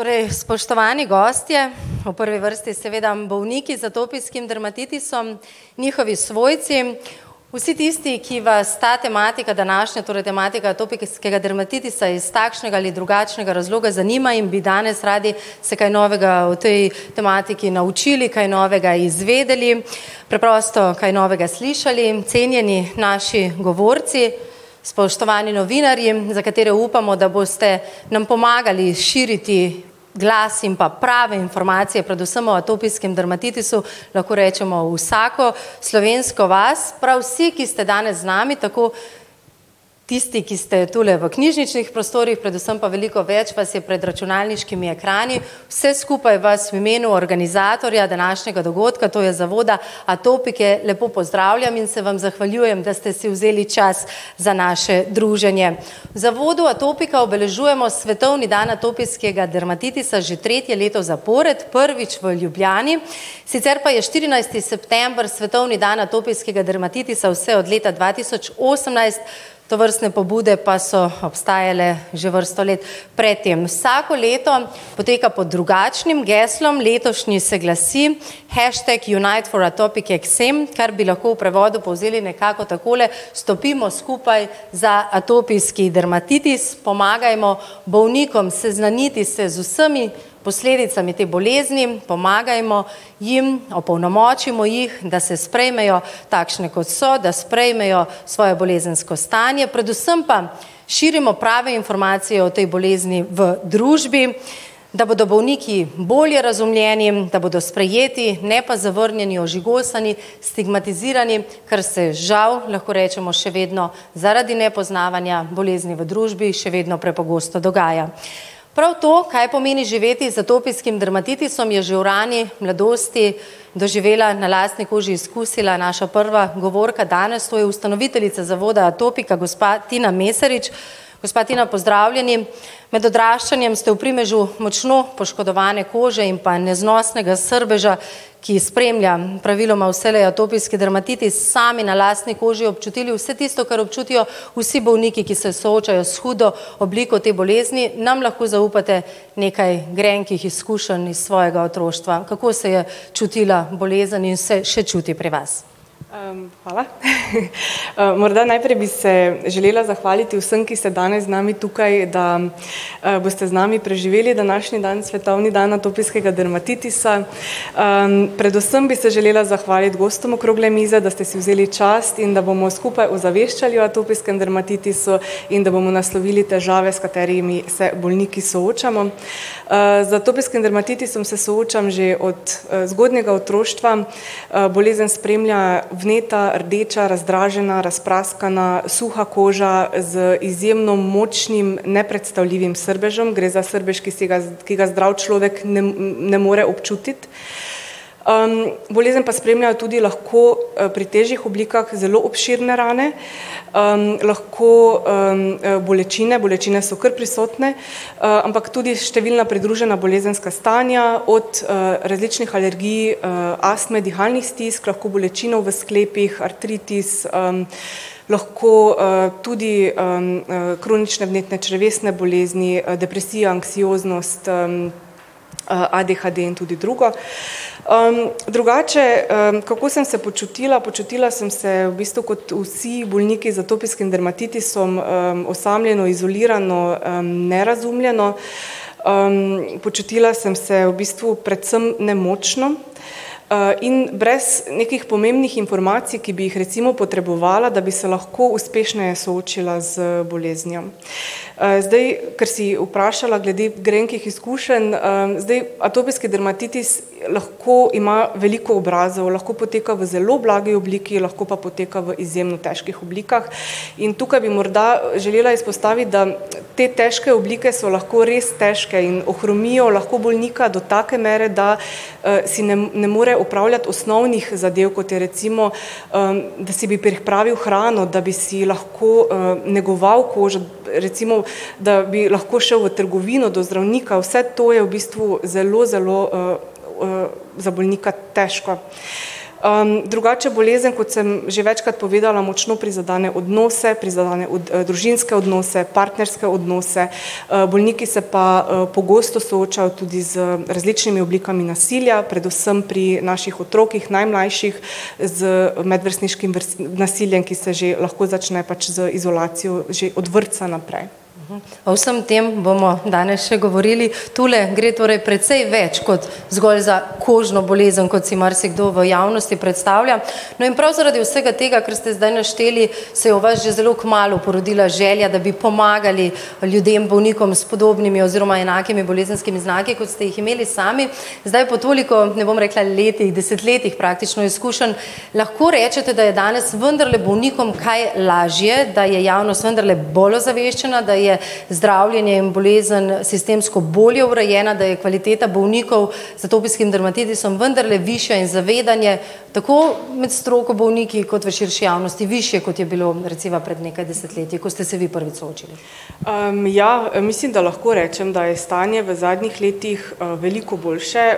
Torej, spoštovani gostje, v prvi vrsti seveda bolniki z atopijskim dermatitisom, njihovi svojci, vsi tisti, ki vas ta tematika današnja, torej tematika atopijskega dermatitisa iz takšnega ali drugačnega razloga zanima in bi danes radi se kaj novega o tej tematiki naučili, kaj novega izvedeli, preprosto kaj novega slišali, cenjeni naši govorci, spoštovani novinarji, za katere upamo, da boste nam pomagali širiti glas in pa prave informacije predvsem o atopijskem dermatitisu, lahko rečemo v vsako slovensko vas. Prav vsi, ki ste danes z nami, tako tisti, ki ste tule v knjižničnih prostorih, predvsem pa veliko več vas je pred računalniškimi ekrani. Vse skupaj vas v imenu organizatorja današnjega dogodka, to je Zavoda Atopike, lepo pozdravljam in se vam zahvaljujem, da ste si vzeli čas za naše druženje. V Zavodu Atopika obeležujemo svetovni dan atopijskega dermatitisa že tretje leto zapored. Prvič v Ljubljani, sicer pa je štirinajsti september svetovni dan atopijskega dermatitisa vse od leta dva tisoč osemnajst, tovrstne pobude pa so obstajale že vrsto let pred tem. Vsako leto poteka pod drugačnim geslom. Letošnji se glasi: Hashtag unite for atopic eczema, kar bi lahko v prevodu povzeli nekako takole: Stopimo skupaj za atopijski dermatitis, pomagajmo bolnikom seznaniti se z vsemi posledicami te bolezni, pomagajmo jim, opolnomočimo jih, da se sprejmejo takšne, kot so, da sprejmejo svojo bolezensko stanje, predvsem pa širimo prave informacije o tej bolezni v družbi, da bodo bolniki bolje razumljeni, da bodo sprejeti, ne pa zavrnjeni, ožigosani, stigmatizirani, kar se žal, lahko rečemo, še vedno zaradi nepoznavanja bolezni v družbi še vedno prepogosto dogaja. Prav to, kaj pomeni živeti z atopijskim dermatitisom, je že v rani mladosti doživela, na lastni koži izkusila naša prva govorka danes, to je ustanoviteljica Zavoda Atopika, gospa Tina Mesarič. Gospa Tina, pozdravljeni. Med odraščanjem ste v primežu močno poškodovane kože in pa neznosnega srbeža, ki spremlja praviloma vselej atopijski dermatitis, sami, na lastni koži občutili vse tisto, kar občutijo vsi bolniki, ki se soočajo s hudo obliko te bolezni. Nam lahko zaupate nekaj grenkih izkušenj iz svojega otroštva. Kako se je čutila bolezen in se še čuti pri vas? hvala, morda najprej bi se želela zahvaliti vsem, ki so danes z nami tukaj, da, boste z nami preživeli današnji dan, svetovni dan atopijskega dermatitisa. predvsem bi se želela zahvaliti gostom okrogle mize, da ste si vzeli čas in da bomo skupaj ozaveščali o atopijskem dermatitisu in da bomo naslovili težave, s katerimi se bolniki soočamo. z atopijskim dermatitisom se soočam že od, zgodnjega otroštva. bolezen spremlja vneta, rdeča, razdražena, razpraskana, suha koža z izjemno močnim, nepredstavljivim srbežem, gre za srbež, ki si ga, ki ga zdrav človek ne ne more občutiti. bolezen pa spremlja tudi lahko, pri težjih oblikah zelo obširne rane, lahko, bolečina, bolečine so kar prisotne. ampak tudi številna pridružena bolezenska stanja od, različnih alergij, astme, dihalnih stisk, lahko bolečine v sklepih, artritis, lahko, tudi, kronične vnetne, črevesne bolezni, depresija, anksioznost, ADHD in tudi drugo. drugače, kako sem se počutila, počutila sem se v bistvu kot vsi bolniki z atopijskim dermatitisom. osamljeno, izolirano, nerazumljeno. počutila sem se v bistvu predvsem nemočno, in brez nekih pomembnih informacij, ki bi jih recimo potrebovala, da bi se lahko uspešneje soočila z boleznijo. zdaj, ker si vprašala glede grenkih izkušenj, Zdaj atopijski dermatitis lahko ima veliko obrazov, lahko poteka v zelo blagi obliki, lahko pa poteka v izjemno težkih oblikah. In tukaj bi morda želela izpostaviti, da te težke oblike so lahko res težke in ohromijo lahko bolnika do take mere, da, si ne ne more opravljati osnovnih zadev, kot je recimo, da si bi pripravil hrano, da bi si lahko, negoval kožo recimo, da bi lahko šel v trgovino, do zdravnika, vse to je v bistvu zelo, zelo, za bolnika težko. drugače bolezen, kot sem že večkrat povedala, močno prizadene odnose, prizadene družinske odnose, partnerske odnose, bolniki se pa, pogosto soočajo tudi z različnimi oblikami nasilja, predvsem pri naših otrocih, najmlajših z medvrstniškim, nasiljem, ki se že lahko začne pač z izolacijo že od vrtca naprej. o vsem tem bomo danes še govorili. Tule gre torej precej več kot zgolj za kožno bolezen, kot si marsikdo v javnosti predstavlja. No, in prav zaradi vsega tega, kar ste zdaj našteli, se je v vas že zelo kmalu porodila želja, da bi pomagali ljudem, bolnikom s podobnimi oziroma enakimi bolezenskimi znaki, kot ste jih imeli sami. Zdaj po toliko, ne bom rekla letih, desetletjih praktično izkušenj lahko rečete, da je danes vendarle bolnikom kaj lažje, da je javnost vendarle bolj ozaveščena, da je zdravljenje in bolezen sistemsko bolje urejena, da je kvaliteta bolnikov z atopijskim dermatitisom vendarle višja in zavedanje tako med stroko, bolniki kot v širši javnosti višje, kot je bilo recimo pred nekaj desetletji, ko ste se vi prvič soočali. ja, mislim, da lahko rečem, da je stanje v zadnjih letih, veliko boljše,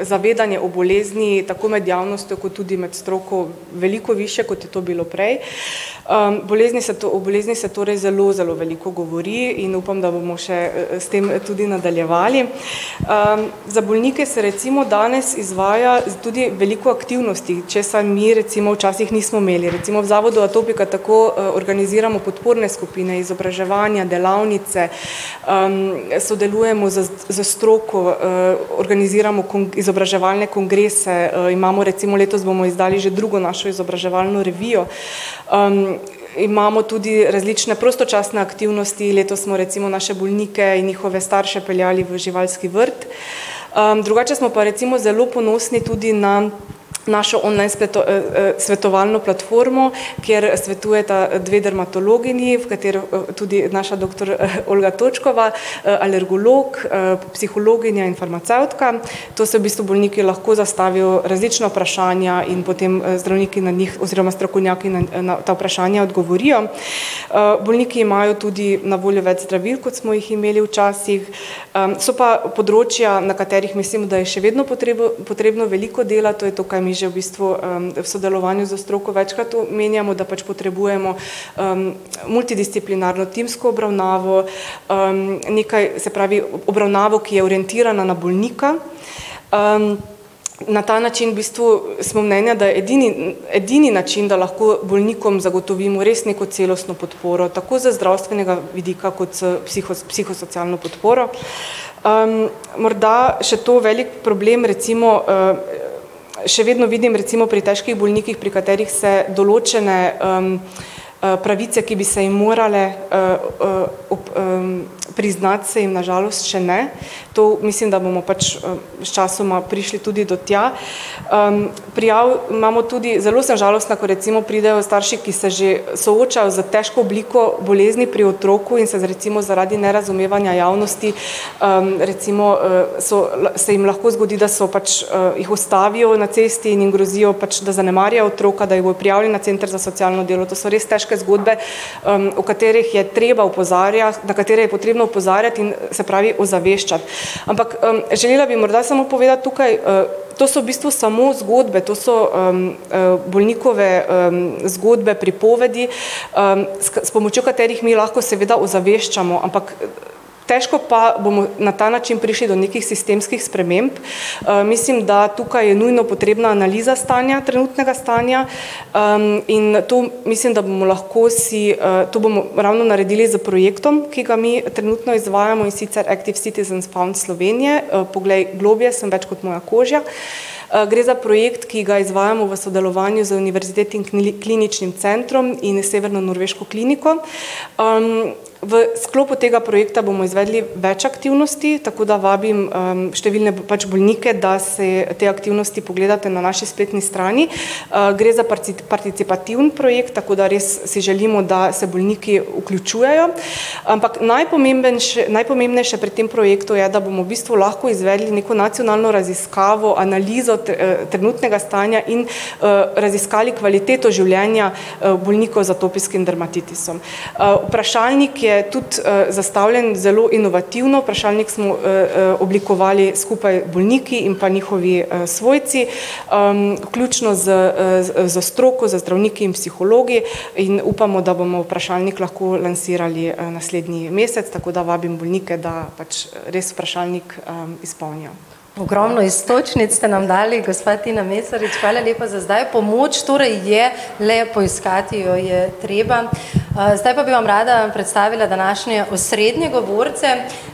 zavedanje o bolezni, tako med javnostjo kot tudi med stroko veliko višje, kot je to bilo prej. bolezni se to, o bolezni se torej zelo, zelo veliko govori in upam, da bomo še, s tem tudi nadaljevali. za bolnike se recimo danes izvaja tudi veliko aktivnosti, česar mi recimo včasih nismo imeli, recimo v Zavodu Atopika tako, organiziramo podporne skupine, izobraževanja, delavnice, sodelujemo s, s stroko, organiziramo izobraževalne kongrese, imamo recimo letos bomo izdali že drugo našo izobraževalno revijo. imamo tudi različne prostočasne aktivnosti. Letos smo recimo naše bolnike in njihove starše peljali v živalski vrt. drugače smo pa recimo zelo ponosni tudi na našo online spletno, svetovalno platformo, kjer svetujeta dve dermatologinji, v katero tudi, naša doktor Olga Točkova, alergolog, psihologinja in farmacevtka. Tu si v bistvu bolniki lahko zastavijo različna vprašanja in potem, zdravniki na njih oziroma strokovnjaki na, na ta vprašanja odgovorijo. bolniki imajo tudi na voljo več zdravil, kot smo jih imeli včasih. so pa področja, na katerih mislim, da je še vedno potrebno veliko dela, to je to, kar mi že v bistvu, v sodelovanju s stroko večkrat omenjamo, da pač potrebujemo, multidisciplinarno timsko obravnavo, nekaj, se pravi, obravnavo, ki je orientirana na bolnika, na ta način v bistvu smo mnenja, da edini, edini način, da lahko bolnikom zagotovimo res neko celostno podporo, tako z zdravstvenega vidika kot z psihosocialno podporo. morda, še to. Velik problem recimo, še vedno vidim recimo pri težkih bolnikih, pri katerih se določene, pravice, ki bi se jim morale, priznati, se jim na žalost še ne. To mislim, da bomo pač, sčasoma prišli tudi do tja. prijav imamo tudi, zelo sem žalostna, ko recimo pridejo starši, ki se že, soočajo s težko obliko bolezni pri otroku in se recimo zaradi nerazumevanja v javnosti, recimo so, so, se jim lahko zgodi, da so pač, jih ustavijo na cesti in jim grozijo pač, da zanemarjajo otroka, da jih bojo prijavili na center za socialno delo. To so res težke zgodbe, o katerih je treba opozarjati, na katere je potrebno opozarjati in, se pravi ozaveščati. Ampak, želela bi morda samo povedati tukaj, to so v bistvu samo zgodbe, to so, bolnikove, zgodbe, pripovedi, s, s pomočjo katerih mi lahko seveda ozaveščamo, ampak težko pa bomo na ta način prišli do nekih sistemskih sprememb. mislim, da tukaj je nujno potrebna analiza stanja, trenutnega stanja, in nato mislim, da bomo lahko si, to bomo ravno naredili s projektom, ki ga mi trenutno izvajamo, in sicer Active citizen fund Slovenije, poglej globlje, sem več kot moja koža. gre za projekt, ki ga izvajajmo v sodelovanju z Univerzitetnim kliničnim centrom in severnonorveško kliniko. v sklopu tega projekta bomo izvedli več aktivnosti, tako da vabim, številne pač bolnike, da se te aktivnosti pogledate na naši spletni strani, gre za participativni projekt, tako da res si želimo, da se bolniki vključujejo. Ampak najpomembnejše pri tem projektu je, da bomo v bistvu lahko izvedli neko nacionalno raziskavo, analizo, trenutnega stanja in, raziskali kvaliteto življenja, bolnikov z atopijskim dermatitisom. vprašalnik je tudi, zastavljen zelo inovativno. Vprašalnik smo, oblikovali skupaj bolniki in pa njihovi, svojci. vključno s, s stroko, z zdravniki in psihologi in upamo, da bomo vprašalnik lahko lansirali, naslednji mesec, tako da vabim bolnike, da pač res vprašalnik izpolnijo. Ogromno iztočnic ste nam dali, gospa Tina Mesarič. Hvala lepa za zdaj. Pomoč torej je, le poiskati jo je treba. zdaj pa bi vam rad predstavila današnje osrednje govorce.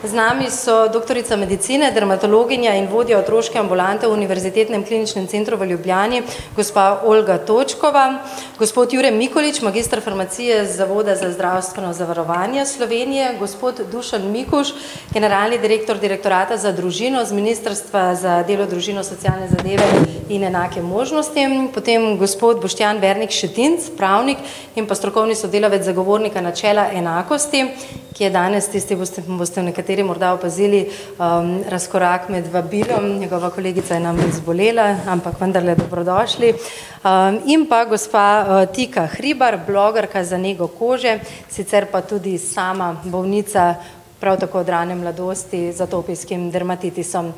Z nami so doktorica medicine, dermatologinja in vodja otroške ambulante v Univerzitetnem kliničnem centru v Ljubljani, gospa Olga Točkova. Gospod Jure Mikolič, magister farmacije z Zavoda za zdravstveno zavarovanje Slovenije, gospod Dušan Mikuž, generalni direktor Direktorata za družino z ministrstva za delo, družino, socialne zadeve in enake možnosti, potem gospod Boštjan Vertnik Šetinc, pravnik, in pa strokovni sodelavec Zagovornika načela enakosti, ki je danes, tisti boste, boste nekateri morda opazili, razkorak med vabilom, njegova kolegica je namreč zbolela, ampak vendarle dobrodošli. in pa gospa, Tika Hribar, blogerka za nego kože, sicer pa tudi sama bolnica, prav tako od rane mladosti, z atopijskim dermatitisom.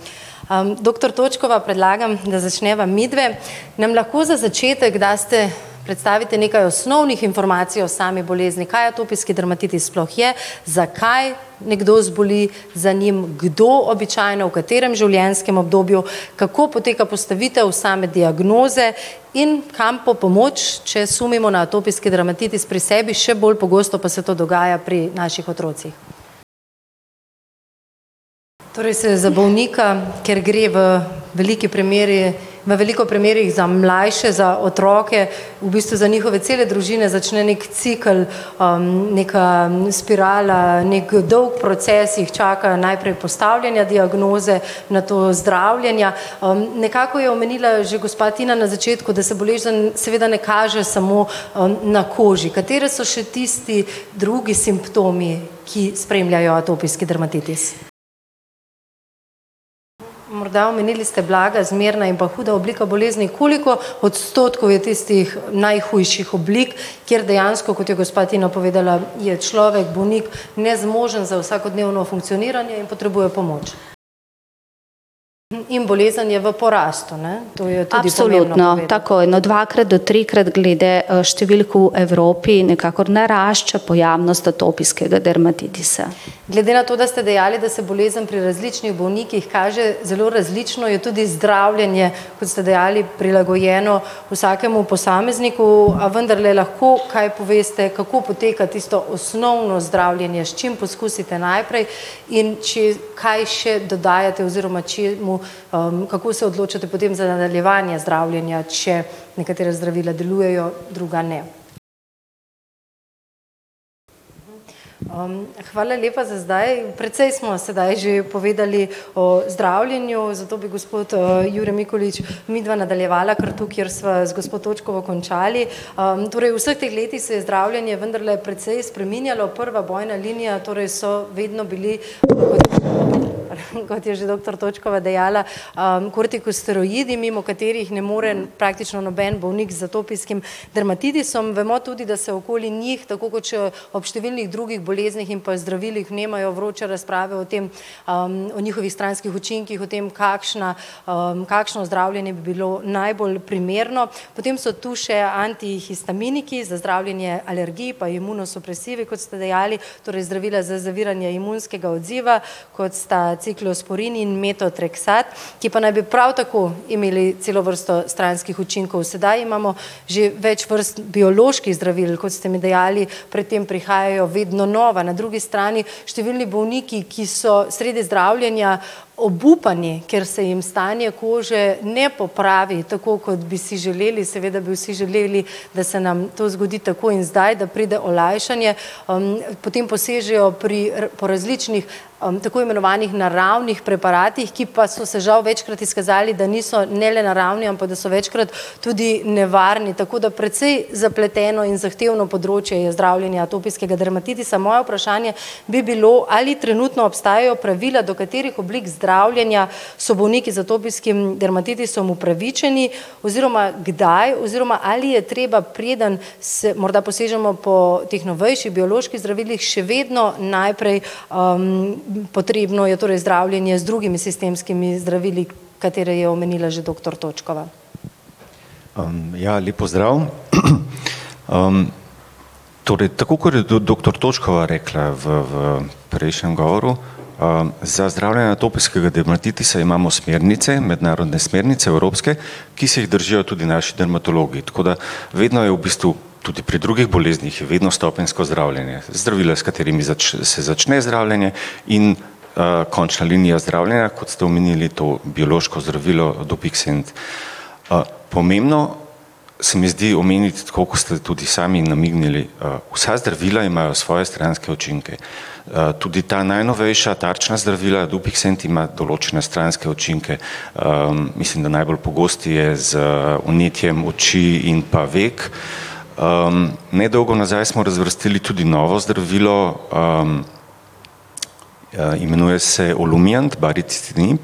doktor Točkova, predlagam, da začneva midve. Nam lahko za začetek daste, predstavite nekaj osnovnih informacij o sami bolezni, kaj atopijski dermatitis sploh je, zakaj nekdo zboli za njim, kdo običajno, v katerem življenjskem obdobju, kako poteka postavitev same diagnoze in kam po pomoč, če sumimo na atopijski dermatitis pri sebi, še bolj pogosto pa se to dogaja pri naših otrocih. Torej se za bolnika, ker gre v veliki premeri, v veliko primerih za mlajše, za otroke v bistvu za njihove cele družine začne neki cikel, neka spirala, neki dolg proces jih čaka. Najprej postavljanje diagnoze, nato zdravljenja, nekako je omenila že gospa Tina na začetku, da se bolezen seveda ne kaže samo, na koži, katere so še tisti drugi simptomi, ki spremljajo atopijski dermatitis? Morda omenili ste blaga, zmerna in pa huda oblika bolezni, koliko odstotkov je tistih najhujših oblik, kjer dejansko, kot je gospa Tina povedala, je človek bolnik nezmožen za vsakodnevno funkcioniranje in potrebuje pomoč. In bolezen je v porastu, ne? Glede na to, da ste dejali, da se bolezen pri različnih bolnikih kaže zelo različno, je tudi zdravljenje, kot ste dejali, prilagojeno vsakemu posamezniku, a vendarle lahko kaj poveste, kako poteka tisto osnovno zdravljenje, s čim poskusite najprej in če, kaj še dodajate oziroma čemu, kako se odločate potem za nadaljevanje zdravljenja, če nekatera zdravila delujejo, drugega ne. hvala lepa za zdaj. Precej smo sedaj že povedali o zdravljenju, zato bi gospod, Jure Mikolič midva nadaljevala kar tu, kjer sva z gospo Točkovo končali. torej v vseh teh letih se je zdravljenje vendarle precej spreminjalo. Prva bojna linija torej so vedno bili, kot je že doktor Točkova dejala, kortikosteroidi, mimo katerih ne more praktično noben bolnik z atopijskim dermatitisom. Bomo tudi, da se okoli njih tako kot še ob številnih drugih boleznih in pa zdravilih vnemajo vroče razprave o tem, o njihovih stranskih učinkih o tem, kakšna, kakšno zdravljenje bi bilo najbolj primerno. Potem so tu še antihistaminiki za zdravljenje alergij pa imunosupresivi, kot ste dejali. Torej zdravila za zaviranje imunskega odziva, kot sta ciklosporin in metoatraksat, ki pa naj bi prav tako imeli celo vrsto stranskih učinkov, sedaj imamo že več vrst bioloških zdravil, kot ste mi dejali, pred tem prihajajo vedno nova. Na drugi strani številni bolniki, ki so sredi zdravljenja obupani, ker se jim stanje kože ne popravi tako, kot bi si želeli. Seveda bi vsi želeli, da se nam to zgodi takoj in zdaj, da pride olajšanje. potem posežejo pri, po različnih, tako imenovanih naravnih preparatih, ki pa so se žal večkrat izkazali, da niso ne le naravni, ampak da so večkrat tudi nevarni, tako da precej zapleteno in zahtevno področje je zdravljenje atopijskega dermatitisa. Moje vprašanje bi bilo, ali trenutno obstajajo pravila, do katerih oblik zdravljenja so bolniki z atopijskim dermatitisom upravičeni, oziroma kdaj oziroma, ali je treba, preden se morda posežemo po teh novejših bioloških zdravilih, še vedno najprej, potrebno je torej zdravljenje z drugimi sistemskimi zdravili, katere je omenila že doktor Točkova. ja, lep pozdrav, torej, tako kot je doktor Točkova rekla v, v prejšnjem govoru, za zdravljenje atopijskega dermatitisa imamo smernice, mednarodne smernice, evropske, ki se jih držijo tudi naši dermatologi, tako da vedno je v bistvu tudi pri drugih boleznih je vedno stopenjsko zdravljenje. Zdravila, s katerimi se začne zdravljenje in, končna linija zdravljenja, kot ste omenili to biološko zdravilo dopiksent. pomembno se mi zdi omeniti, tako kot ste tudi sami namignili, vsa zdravila imajo svoje stranske učinke. tudi ta najnovejša tarčna zdravila, dopiksent ima določene stranske učinke. mislim, da najbolj pogost je z vnetjem oči in pa vek. nedolgo nazaj smo razvrstili tudi novo zdravilo, imenuje se olumiant baricitinib,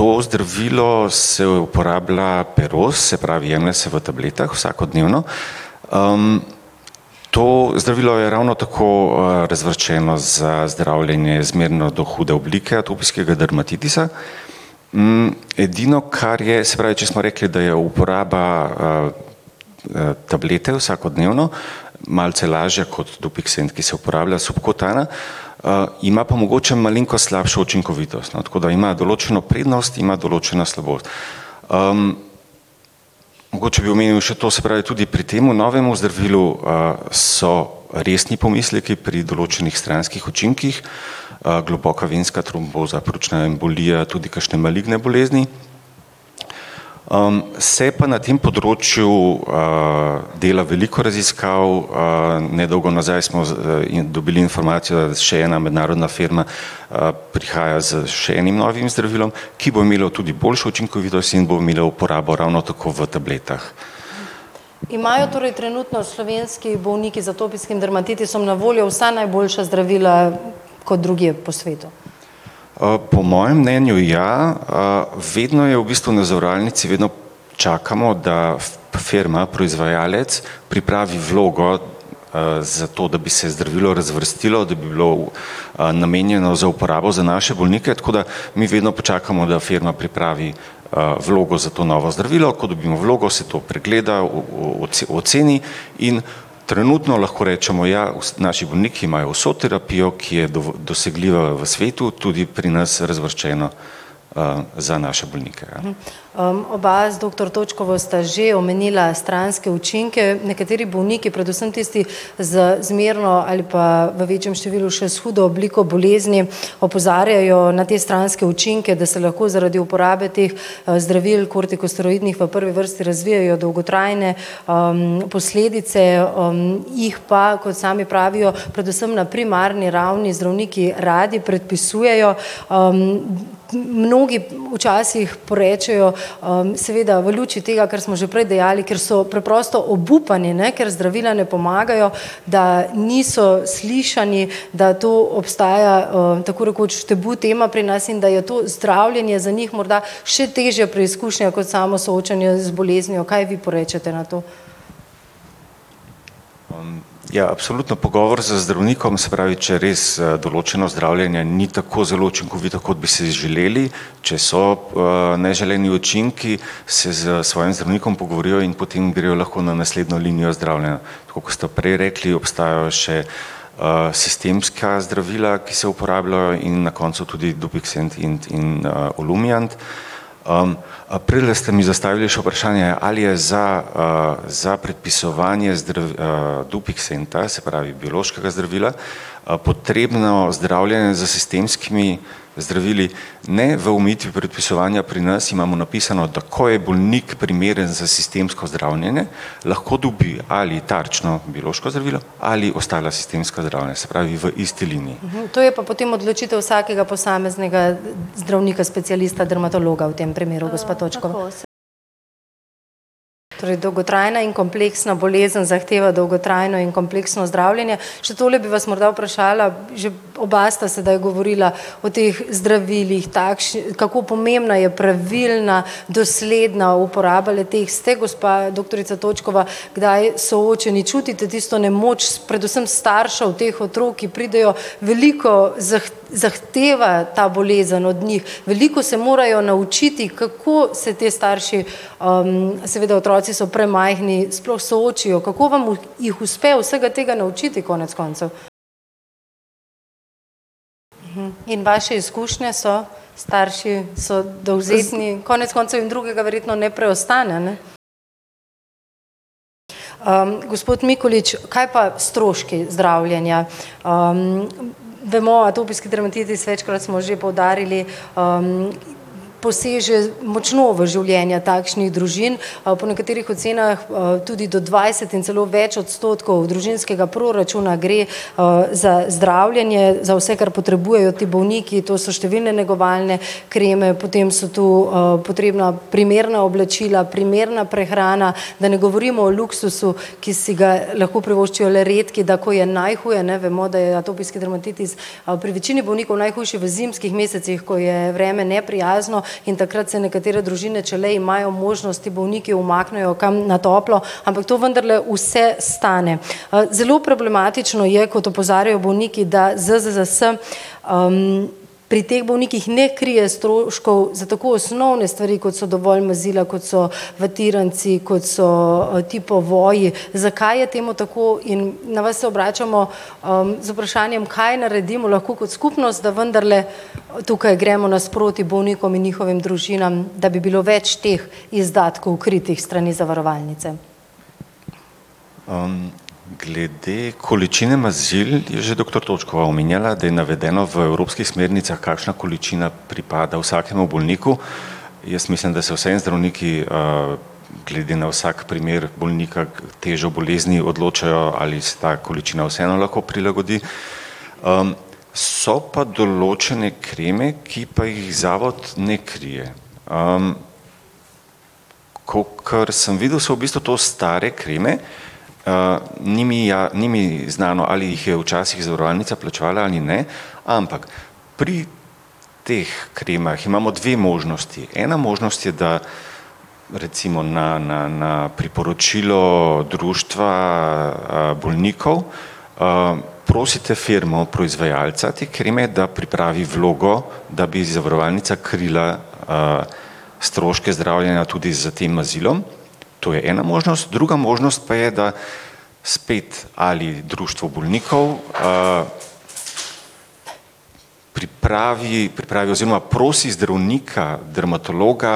to zdravilo se uporablja peros, se pravi vnese v tabletah, vsakodnevno. to zdravilo je ravno tako, razvrščeno za zdravljenje zmerno do hude oblike atopijskega dermatitisa. edino, kar je, se pravi, če smo rekli, da je uporaba, tablete vsakodnevno, malce lažja kot dupiksent, ki se uporablja subkutano, ima pa mogoče malenkost slabšo učinkovitost, no, tako da ima določeno prednost, ima določeno slabost. mogoče bi omenil še to, se pravi tudi pri tem novem zdravilu, so resni pomisleki pri določenih stranskih učinkih. globoka venska tromboza, pljučna embolija tudi kakšne maligne bolezni. se pa na tem področju, dela veliko raziskav, nedolgo nazaj smo z, in dobili informacijo, še ena mednarodna firma, prihaja s še enim novim zdravilom, ki bo imelo tudi boljšo učinkovitost in bo imelo uporabo ravno tako v tabletah. Imajo torej trenutno slovenski bolniki z atopijskim dermatitisom na voljo vsa najboljša zdravila kot drugje po svetu? po mojem mnenju ja, vedno je v bistvu na zavarovalnici vedno čakamo, da firma, proizvajalec pripravi vlogo, za to, da bi se zdravilo razvrstilo, da bi bilo, namenjeno za uporabo za naše bolnike, tako da mi vedno počakamo, da firma pripravi, vlogo za to novo zdravilo. Ko dobimo vlogo, se to pregleda, o, o, o oceni in trenutno lahko rečemo, ja, naši bolniki imajo vso terapijo, ki je dosegljiva v svetu, tudi pri nas razvrščeno, za naše bolnike. oba z doktor Točkovo sta že omenila stranske učinke, nekateri bolniki, predvsem tisti z zmerno ali pa v večjem številu še s hudo obliko bolezni opozarjajo na te stranske učinke, da se lahko zaradi uporabe teh, zdravil, kortikosteroidih v prvi vrsti razvijejo dolgotrajne, posledice, jih pa, kot sami pravijo, predvsem na primarni ravni zdravniki radi predpisujejo, mnogi včasih porečejo, seveda v luči tega, kar smo že prej dejali, ker so preprosto obupani, ne, ker zdravila ne pomagajo, da niso slišani, da to obstaja, tako rekoč tabu tema pri nas in da je to zdravljenje za njih morda še težja preizkušnja kot samo soočanje z boleznijo, kaj vi porečete na to. ja absolutno pogovor z zdravnikom, se pravi, če res, določeno zdravljenje ni tako zelo učinkovito, kot bi si želeli, če so, neželeni učinki, se s svojim zdravnikom pogovorijo in potem grejo lahko na naslednjo linijo zdravljenja. Tako kot ste prej rekli, obstajajo še, sistemska zdravila, ki se uporabljajo, in na koncu tudi dopiksent in, in, olumiant. a prejle ste mi zastavili še vprašanje, ali je za, za predpisovanje dopiksenta, se pravi biološkega zdravila, potrebno zdravljenje s sistemskimi zdravili. Ne, v omejitvi predpisovanja pri nas imamo napisano, da ko je bolnik primeren za sistemsko zdravljenje, lahko dobi ali tarčno biološko zdravilo ali ostala sistemska zdravljenja. Se pravi v isti liniji. To je pa potem odločitev vsakega posameznega zdravnika, specialista, dermatologa, v tem primeru gospa Točkova. Torej dolgotrajna in kompleksna bolezen zahteva dolgotrajno in kompleksno zdravljenje. Še tole bi vas morda vprašala, že oba sta sedaj govorila o teh zdravilih kako pomembna je pravilna, dosledna uporaba le-teh. Ste gospa doktorica Točkova kdaj soočeni, čutite tisto nemoč s predvsem staršev teh otrok, ki pridejo veliko zahteva ta bolezen od njih. Veliko se morajo naučiti, kako se ti starši, seveda otroci so premajhni, sploh soočijo, kako vam jih uspe vsega tega naučiti konec koncev? In vaše izkušnje so starši so dovzetni, konec koncev jim drugega verjetno ne preostane, ne? gospod Mikolič, kaj pa stroški zdravljenja? bomo, atopijski dermatitis večkrat smo že poudarili, poseže močno v življenja takšnih družin, po nekaterih ocenah, tudi do dvajset in celo več odstotkov družinskega proračuna gre, za zdravljenje, za vse, kar potrebujejo ti bolniki, to so številne negovalne kreme, potem so to, potrebna primerna oblačila, primerna prehrana, da ne govorimo o luksuzu, ki si ga lahko privoščijo le redki, da ko je najhuje, ne, bomo, da je atopijski dermatitis, pri večini bolnikov najhujši v zimskih mesecih, ko je vreme neprijazno in takrat se nekatere družine, če le imajo možnost, ti bolniki umaknejo kam na toplo, ampak to vendarle vse stane. zelo problematično je, kot opozarjajo bolniki, da ZZZS, pri teh bolnikih ne krije stroškov za tako osnovne stvari, kot so dovolj mazila, kot so vatiranci, kot so, ti povoji. Zakaj je temu tako? In na vas se obračamo, z vprašanjem, kaj naredimo lahko kot skupnost, da vendarle, tukaj gremo nasproti bolnikom in njihovim družinam, da bi bilo več teh izdatkov, kritih s strani zavarovalnice. glede količine mazil je že doktor Točkova omenjala, da je navedeno v evropskih smernicah, kakšna količina pripada vsakemu bolniku. Jaz mislim, da se vseeno zdravniki, glede na vsak primer bolnika, težo bolezni odločajo, ali se ta količina vseeno lahko prilagodi, so pa določene kreme, ki pa jih zavod ne krije. kakor sem videl, so v bistvu to stare kreme, ni mi ni mi znano, ali jih je včasih zavarovalnica plačevala ali ne, ampak pri teh kremah imamo dve možnosti. Ena možnost je, da recimo na, na, na priporočilo Društva, bolnikov, prosite firmo proizvajalca te kreme, da pripravi vlogo, da bi zavarovalnica krila, stroške zdravljenja tudi s tem mazilom. To je ena možnost, druga možnost pa je, da spet ali Društvo bolnikov, pripravi, pripravi oziroma prosi zdravnika, dermatologa,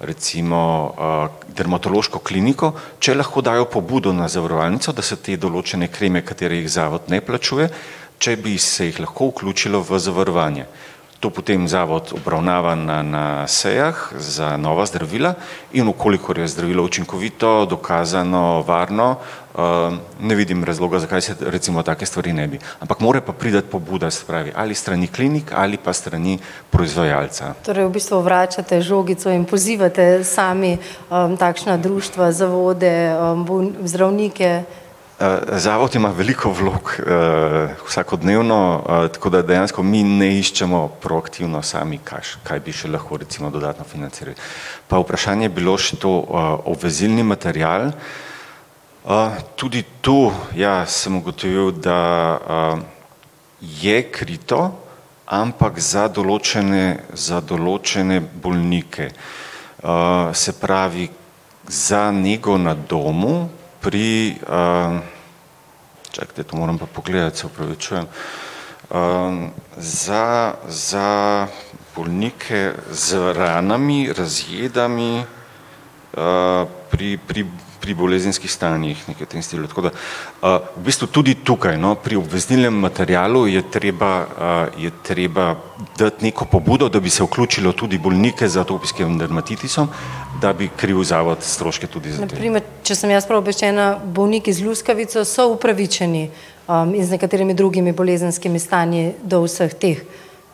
recimo, Dermatološko kliniko, če lahko dajo pobudo na zavarovalnico, da se te določene kreme, katere jih zavod ne plačuje, če bi se jih lahko vključilo v zavarovanje. To potem zavod obravnava na, na sejah za nova zdravila, in v kolikor je zdravilo učinkovito, dokazano, varno, ne vidim razloga, zakaj se recimo take stvari ne bi, ampak mora pa priti pobuda, se pravi, ali s strani klinike ali pa s strani proizvajalca. Torej v bistvu vračate žogico in pozivate sami, takšna društva, zavode, zdravnike. zavod ima veliko vlog, vsakodnevno, tako da dejansko mi ne iščemo proaktivno sami, kaj bi še lahko recimo dodatno financirali. Pa vprašanje je bilo še to, obvezilni material. tudi tu, ja, sem ugotovil, da, je krito, ampak za določene, za določene bolnike. se pravi za nego na domu pri, čakajte, to moram pa pogledati, se opravičujem. za, za bolnike z ranami, razjedami, pri, pri, pri bolezenskih stanjih, nekaj v tem stilu, tako da, v bistvu tudi tukaj, no, pri obvezilnem materialu je treba, je treba dati neko pobudo, da bi se vključilo tudi bolnike z atopijskim dermatitisom, da bi kril zavod stroške tudi ... Na primer če sem jaz prav obveščena, bolniki z luskavico so upravičeni? in z nekaterimi drugimi bolezenskimi stanji do vseh teh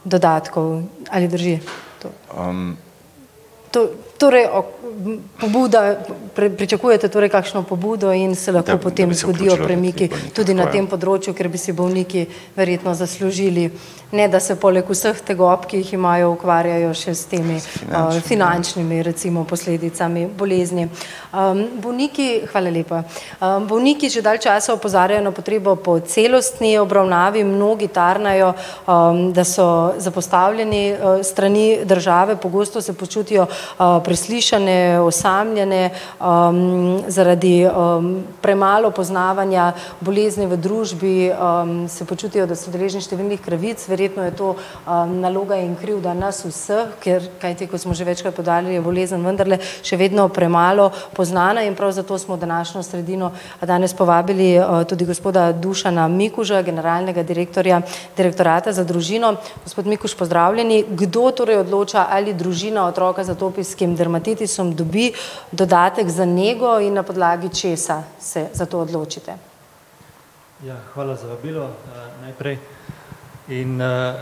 dodatkov ali drži to? ... To, torej o, pobuda pričakujete torej kakšno pobudo in se lahko potem zgodijo premiki tudi na tem področju, kjer bi si bolniki bi se vključilo, tako ja. verjetno zaslužili, ne da so poleg vseh tegob, ki jih imajo, ukvarjajo še s temi finančnimi recimo posledicami bolezni. Finančnimi ... bolniki, hvala lepa. bolniki že dalj časa opozarjajo na potrebo po celostni obravnavi, mnogi tarnajo, da so zapostavljeni, s strani države. Pogosto se počutijo, preslišane, osamljene, zaradi, premalo poznavanja bolezni v družbi, se počutijo, da so deležni številnih krivic. Verjetno je to, naloga in krivda nas vseh. Ker kajti, kot smo že večkrat poudarili, je bolezen vendarle še vedno premalo poznana in prav zato smo v današnjo sredino danes povabili, tudi gospoda Dušana Mikuža, generalnega direktorja Direktorata za družino. Gospod Mikuž, pozdravljeni. Kdo torej odloča, ali družina otroka z atopijskim dermatitisom dobi dodatek za nego, in na podlagi česa se za to odločite? Ja, hvala za vabilo, najprej in,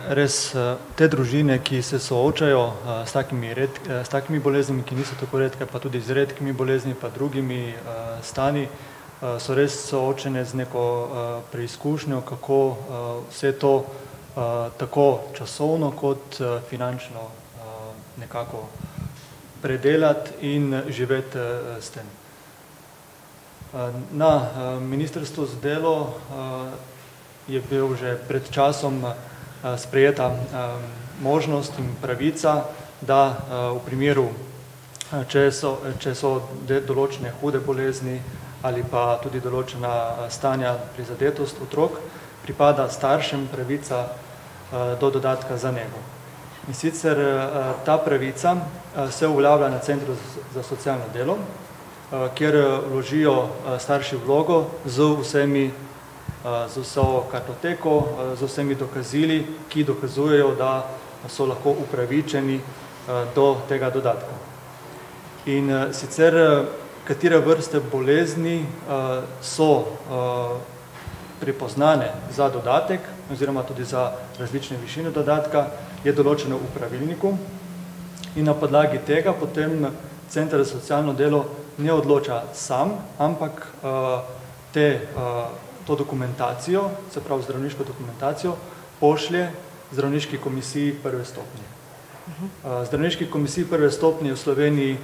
res, te družine, ki se soočajo, s takimi s takimi boleznimi, ki niso tako redke pa tudi z redkimi boleznimi pa drugimi, stanji, so res soočene z neko, preizkušnjo, kako, vse to, tako časovno kot, finančno, nekako predelati in živeti, s tem. na ministrstvu za delo, je bil že pred časom, sprejeta, možnost in pravica, da, v primeru, če so, če so določene hude bolezni ali pa tudi določena stanja prizadetost otrok, pripada staršem pravica, do dodatka za nego. In sicer, ta pravica se uveljavlja na Centru za socialno delo, kjer vložijo, starši vlogo z vsemi, z vso kartoteko, z vsemi dokazili, ki dokazujejo, da so lahko upravičeni, do tega dodatka. In, sicer, katere vrste bolezni, so, prepoznane za dodatek oziroma tudi za različne višine dodatka, je določeno v pravilniku in na podlagi tega potem Center za socialno delo ne odloča sam, ampak, te, to dokumentacijo, se pravi zdravniško dokumentacijo pošlje zdravniški komisiji prve stopnje. zdravniški komisiji prve stopnje, v Sloveniji,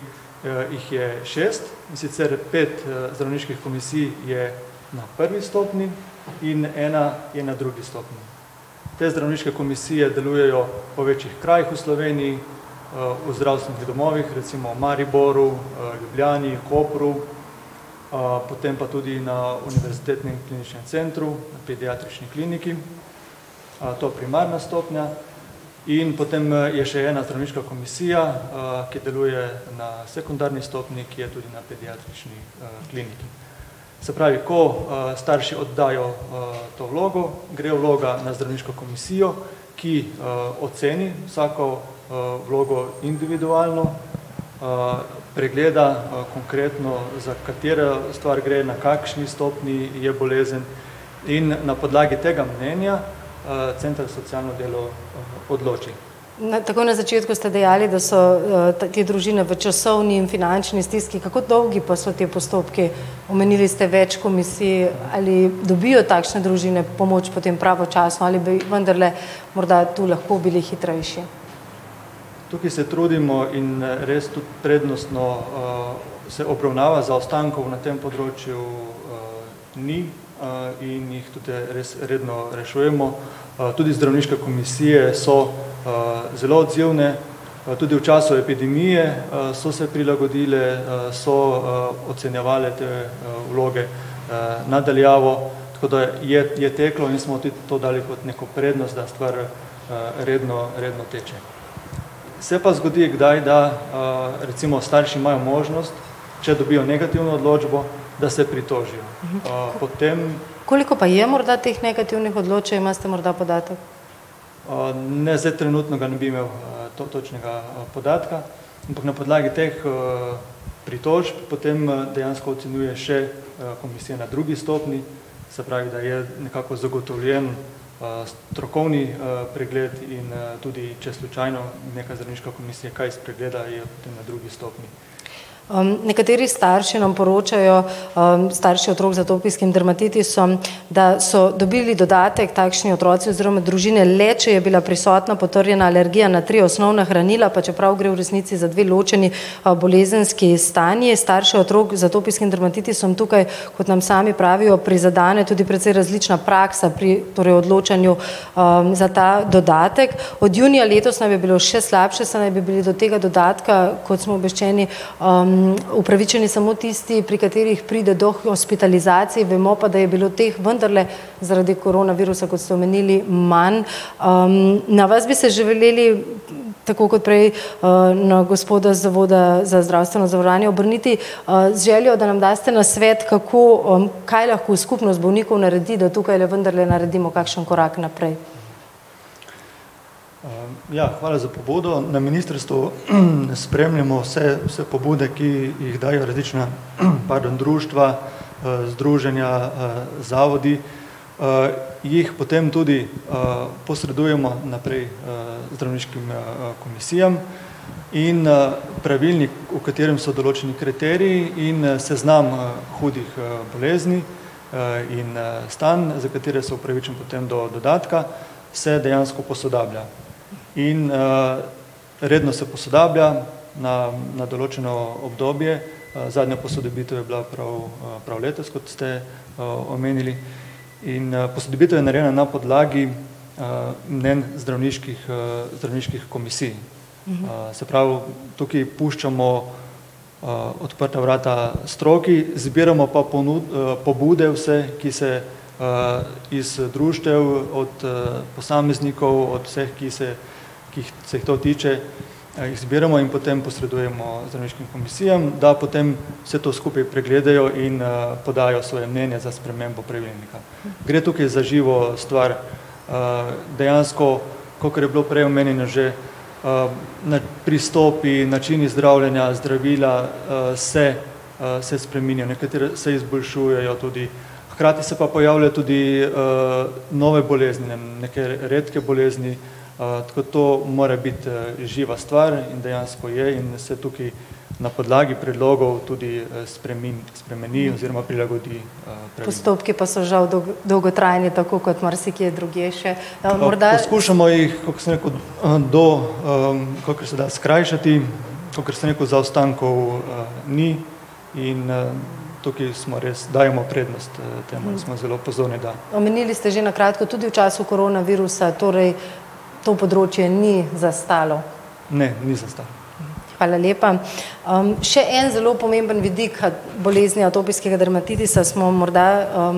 jih je šest, in sicer pet, zdravniških komisij je na prvi stopnji in ena je na drugi stopnji. Te zdravniške komisije delujejo po večjih krajih v Sloveniji, v zdravstvenih domovih, recimo v Mariboru, Ljubljani, Kopru, potem pa tudi na Univerzitetnem kliničnem centru, na Pediatrični kliniki, to primarna stopnja in potem, je še ena zdravniška komisija, ki deluje na sekundarni stopnji, ki je tudi na Pediatrični, kliniki. Se pravi, ko, starši oddajo, to vlogo, gre vloga na zdravniško komisijo, ki, oceni vsako, vlogo individualno. pregleda, konkretno, za katero stvar gre, na kakšni stopnji je bolezen. In na podlagi tega mnenja, Center za socialno delo odloči. Na, takoj na začetku ste dejali, da so, te družine v časovni in finančni stiski. Kako dolgi pa so ti postopki? Omenili ste več komisij. Ali dobijo takšne družine pomoč potem pravočasno ali bi vendarle morda tu lahko bili hitrejši? Tukaj se trudimo in, res tudi prednostno, se obravnava, zaostankov na tem področju, ni. in jih tudi res redno rešujemo. tudi zdravniške komisije so, zelo odzivne. tudi v času epidemije, so se prilagodile, so, ocenjevale te vloge. na daljavo, tako da je, je teklo in smo tudi to dali kot neko prednost, da stvar, redno, redno teče. Se pa zgodi kdaj, da, recimo starši imajo možnost, če dobijo negativno odločbo, da se pritožijo, potem ... Koliko pa je morda teh negativnih odločb, če imate morda podatek? ne, zdaj trenutno ga ne bi imel, točnega, podatka. Ampak na podlagi teh, pritožb potem, dejansko ocenjuje še, komisija na drugi stopnji, se pravi, da je nekako zagotovljen, strokovni, pregled in, tudi, če slučajno neka zdravniška komisija kaj spregleda, je potem na drugi stopnji ... nekateri starši nam poročajo, starši otrok z atopijskim dermatitisom, da so dobili dodatek takšni otroci oziroma družine le, če je bila prisotna potrjena alergija na tri osnovna hranila, pa čeprav gre v resnici za dve ločeni, bolezenski stanji. Starši otrok z atopijskim dermatitisom tukaj, kot nam sami pravijo, prizadene tudi precej različna praksa pri, pri odločanju, za ta dodatek. Od junija letos nam je bilo še slabše, saj naj bi bili do tega dodatka, kot smo obveščeni, upravičeni samo tisti, pri katerih pride do hospitalizacije. Bomo pa, da je bilo teh vendarle zaradi koronavirusa, kot ste omenili, manj. na vas bi se želeli tako kot prej, na gospoda z zavoda za zdravstveno zavarovanje obrniti. z željo, da nam daste nasvet, kako, kaj lahko skupnost bolnikov naredi, da tukaj vendarle naredimo kakšen korak naprej? ja, hvala za pobudo. Na ministrstvu spremljamo vse, vse pobude, ki jih dajejo različna, pardon, društva, združenja, zavodi, jih potem tudi, posredujemo naprej, zdravniškim, komisijam in, pravilnik, v katerem so določeni kriteriji, in seznam hudih, bolezni, in, stanj, za katere so upravičeni potem do dodatka, se dejansko posodablja. In, redno se posodablja na, na določeno obdobje. zadnja posodobitev je bila prav, prav letos, kot ste, omenili. In, posodobitev je narejena na podlagi, mnenj zdravniških, zdravniških komisij. Se pravi, tukaj puščamo, odprta vrata stroki, zbiramo pa pobude vse, ki se, iz društev od, posameznikov, od vseh, ki se, ki se jih to tiče, jih zbiramo in potem posredujemo zdravniškim komisijam, da potem vse to skupaj pregledajo in podajo svoje mnenje za spremembo pravilnika. Gre tukaj za živo stvar, dejansko, kakor je bilo prej omenjeno že, na pristopi, načini zdravljenja, zdravila, se, se spreminja, nekatera se izboljšujejo tudi, hkrati se pa pojavlja tudi, nove bolezni, neke redke bolezni, tako to more biti živa stvar, in dejansko je, in se tukaj na podlagi predlogov tudi, spremeni oziroma prilagodi, ... Postopki pa so žal dolgotrajni, tako kot marsikje drugje še morda ... Poskušamo jih, kakor sem rekel, to, kakor se da skrajšati, kakor sem rekel, zaostankov ni in, tukaj smo res, dajmo prednost, temu, da smo zelo pozorni, da ... Omenili ste že na kratko tudi v času koronavirusa torej to področje ni zastalo. Ne, ni zastalo. Hvala lepa. še en zelo pomemben vidik bolezni atopijskega dermatitisa smo morda,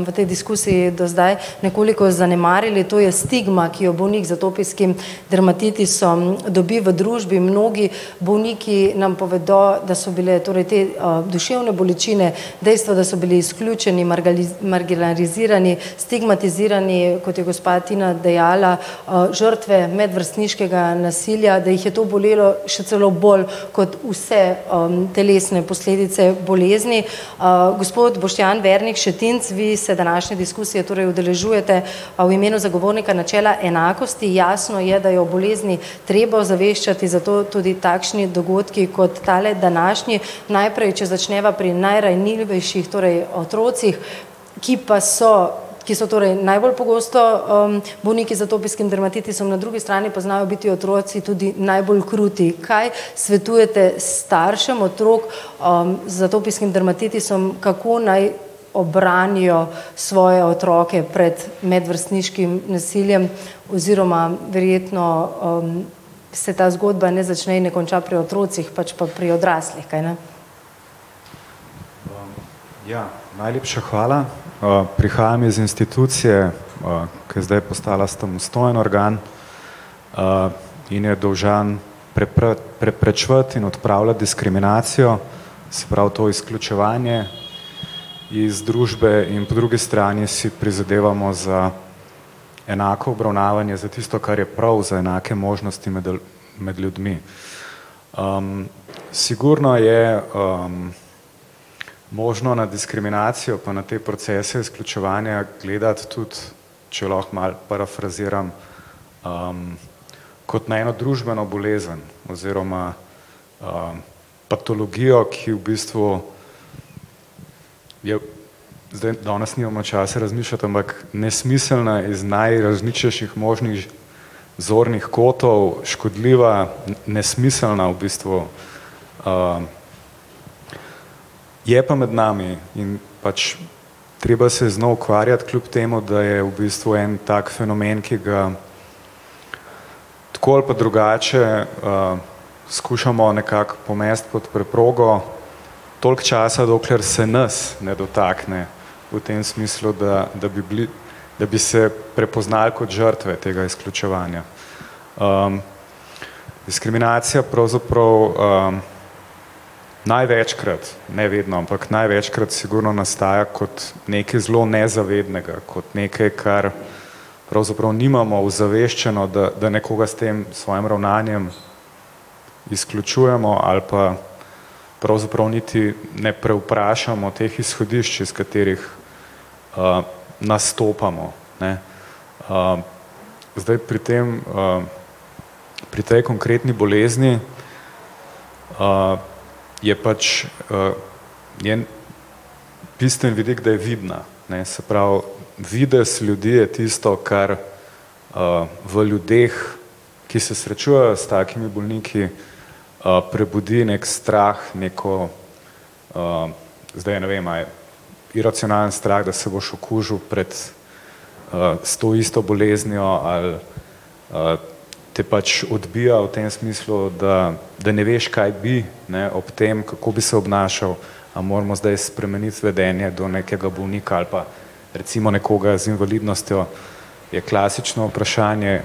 v tej diskusiji do zdaj nekoliko zanemarili, to je stigma, ki jo bolnik z atopijskim dermatitisom dobi v družbi, mnogi bolniki nam povedo, da so bile, torej te, duševne bolečine dejstvo, da so bili izključeni, marginalizirani, stigmatizirani, kot je gospa Tina dejala, žrtve medvrstniškega nasilja, da jih je to bolelo še celo bolj kot vse, telesne posledice bolezni. gospod Boštjan Vernik Šetinc, vi se današnje diskusije torej udeležujete, v imenu Zagovornika načela enakosti, jasno je, da je o bolezni treba ozaveščati, zato tudi takšni dogodki kot tale današnji. Najprej, če začneva pri najranljivejših, torej otrocih, ki pa so, ki so torej najbolj pogosto, bolniki z atopijskim dermatitisom, na drugi strani pa znajo biti otroci tudi najbolj kruti. Kaj svetujete staršem otrok, z atopijskim dermatitisom? Kako naj obranijo svoje otroke pred medvrstniškim nasiljem, oziroma verjetno, se ta zgodba ne začne in ne konča pri otrocih, ampak pri odraslih, kaj ne? ja. Najlepša hvala. prihajam iz institucije, ko je zdaj postala samostojen organ. in je dolžan preprečevati in odpravljati diskriminacijo, se pravi to izključevanje iz družbe, in po drugi strani si prizadevamo za enako obravnavanje za tisto, kar je prav, za enake možnosti med med ljudmi. sigurno je, možno na diskriminacijo pa na te procese izključevanja gledati tudi, če lahko malo parafraziram, kot na eno družbeno bolezen. Oziroma, patologija, ki v bistvu je zdaj, danes nimamo časa razmišljati, ampak nesmiselna iz najrazličnejših možnih zornih kotov, škodljiva, nesmiselna, v bistvu, je pa med nami in pač treba se je z njo ukvarjati, kljub temu da je v bistvu en tak fenomen, ki ga tako ali pa drugače, skušamo nekako pomesti pod preprogo toliko časa, dokler se nas ne dotakne. V tem smislu, da, da bi bili, da bi se prepoznali kot žrtve tega izključevanja. diskriminacija pravzaprav, največkrat, ne vedno, ampak največkrat sigurno nastaja kot nekaj zelo nezavednega, kot nekaj, kar pravzaprav nimamo ozaveščeno, da nekoga s tem, s svojim ravnanjem izključujemo, ali pa pravzaprav niti ne prevprašamo teh izhodišč, iz katerih, nastopamo, ne. zdaj pri tem, pri tej konkretni bolezni, je pač, je bistven vidik, da je vidna, ne. Se pravi, videz ljudi je tisto, kar, v ljudeh, ki se srečujejo s takimi bolniki, prebudi neki strah, neko, zdaj ne vem, a je iracionalen strah, da se boš okužil pred, s to isto boleznijo ali, te pač odbija v tem smislu, da, da ne veš, kaj bi, ne, ob tem, kako bi se obnašali. A moramo zdaj spremeniti vedenje do nekega bolnika ali pa recimo nekoga z invalidnostjo je klasično vprašanje,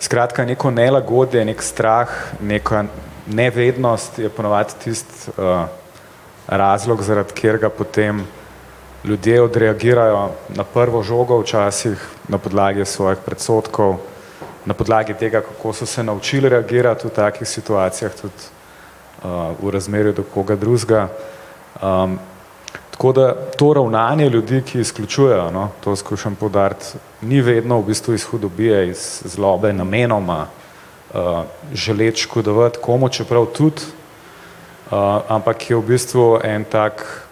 skratka neko nelagodje, neki strah, neka nevednost je ponavadi tisti, razlog, zaradi katerega potem ljudje odreagirajo na prvo žogo včasih na podlagi svojih predsodkov, na podlagi tega, kako so se naučili reagirati v takih situacijah tudi. v razmerju do koga drugega. tako da to ravnanje ljudi, ki izključujejo, to skušam poudariti, ni vedno v bistvu iz hudobije iz zlobe namenoma, želeti škodovati komu, čeprav tudi, ampak je v bistvu en tak,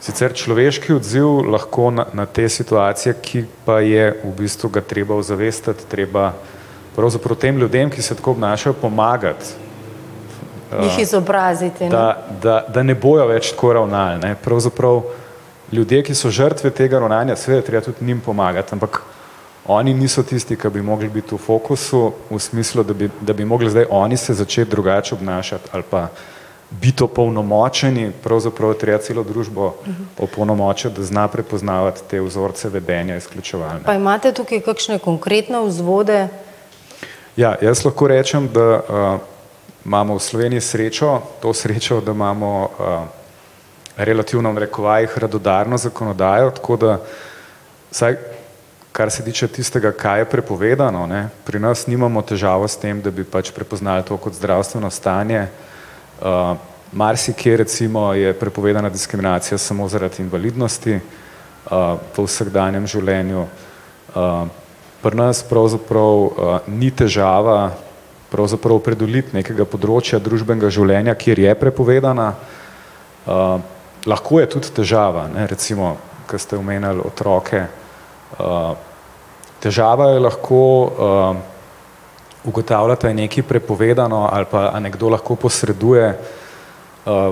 sicer človeški odziv na te situacije, ki pa je v bistvu ga treba ozavestiti treba pravzaprav tem ljudem, ki se tako obnašajo, pomagati. da Jih izobraziti da, da ne bojo več tako ravnali pravzaprav ljudje, ki so žrtve tega ravnanja, seveda je treba tudi njim pomagati, ampak oni niso tisti, ke bi mogli biti v fokusu v smislu, da bi, da bi mogli zdaj oni se začeti drugače obnašati ali pa biti opolnomočeni, pravzaprav je treba celo družbo opolnomočiti, da zna prepoznavati te vzorce vedenja izključevalne. Pa imate tukaj kakšne konkretne vzvode? Ja, jaz lahko rečem, da, imamo v Sloveniji srečo, to srečo, da imamo, relativno v narekovajih radodarno zakonodajo, tako da vsaj, kar se tiče tistega, kaj je prepovedano, ne, pri nas nimamo težavo s tem, da bi pač prepoznali to kot zdravstveno stanje, marsikje recimo je prepovedana diskriminacija samo zaradi invalidnosti. to v vsakdanjem življenju, pri nas pravzaprav, ni težava pravzaprav pridobiti nekega področja družbenega življenja, kjer je prepovedana, lahko je tudi težava, ne, recimo, ke ste omenili otroke, težava je lahko, ugotavljati, a je nekaj prepovedano ali pa a nekdo lahko posreduje,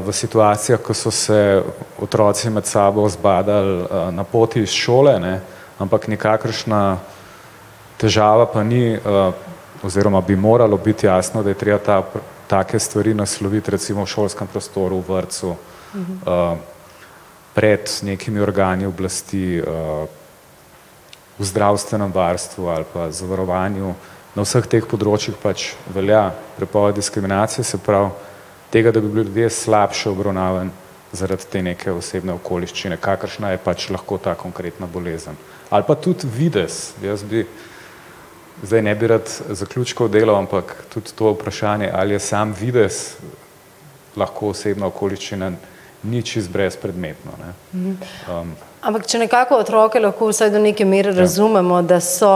v situacijah, ke so se otroci med sabo zbadali, na poti iz šole, ne, ampak nikakršna težava pa ni, oziroma bi moralo biti jasno, da je treba ta, take stvari nasloviti recimo v šolskem prostoru, vrtcu. pred nekimi organi oblasti, v zdravstvenem varstvu ali pa zavarovanju na vseh teh področjih pač velja prepoved diskriminacije, se pravi tega, da bi bili ljudje slabše obravnavani zaradi te neke osebne okoliščine, kakršna je pač lahko ta konkretna bolezen. Ali pa tudi videz, jaz bi, zdaj ne bi rad zaključkov delal, ampak tudi to vprašanje, ali je samo videz lahko osebna okoliščina ni čisto brezpredmetno, ne. ... Ampak če nekako otroke lahko vsaj do neke mere razumemo, da so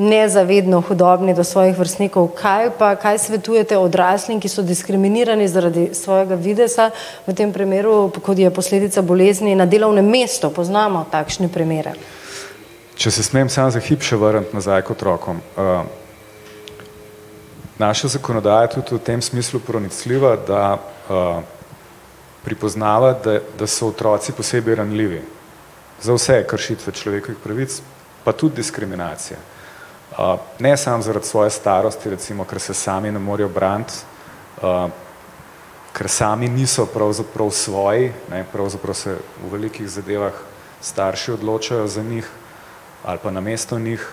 nezavedno hudobni do svojih vrstnikov, kaj pa, kaj svetujete odraslim, ki so diskriminirani zaradi svojega videza v tem primeru, kot je posledica bolezni, na delovnem mestu. Poznamo takšne primere. Če se smem samo za hip še vrniti nazaj k otrokom, naša zakonodaja je tudi v tem smislu pronicljiva, da, pripoznava, da, da so otroci posebej ranljivi. Za vse kršitve človekovih pravic pa tudi diskriminacije. ne samo zaradi svoje starosti recimo, ker se sami ne morejo braniti, ker sami niso pravzaprav svoji, ne, pravzaprav se v velikih zadevah starši odločajo za njih ali pa namesto njih.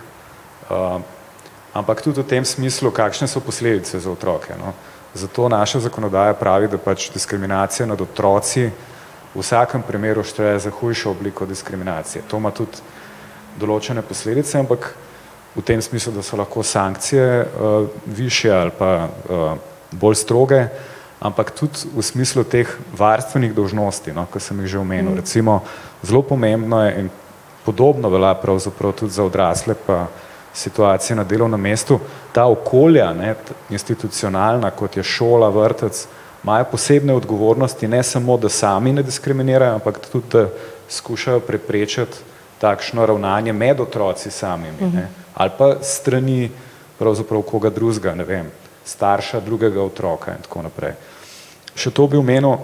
ampak tudi v tem smislu, kakšne so posledice za otroke, no. Zato naša zakonodaja pravi, da pač diskriminacija nad otroci, v vsakem primeru šteje za hujšo obliko diskriminacije, to ima tudi določene posledice, ampak v tem smislu, da so lahko sankcije, višje ali pa, bolj stroge, ampak tudi v smislu teh varstvenih dolžnosti, no, ki sem jih že omenil, recimo zelo pomembna in podobno velja pravzaprav tudi ta odrasle pa situacije na delovnem mestu. Ta okolja, ne, institucionalna, kot je šola, vrtec imajo posebne odgovornosti, ne samo, da sami ne diskriminirajo, ampak tudi da skušajo preprečiti takšno ravnanje med otroci samimi, ne. Ali pa s strani pravzaprav koga drugega, ne vem, starša drugega otroka in tako naprej. Še to bi omenil,